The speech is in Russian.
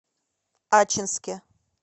ачинске